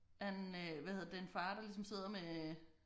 Han øh hvad hedder det en far der ligesom sidder med